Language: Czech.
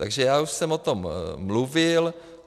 Takže já už jsem o tom mluvil.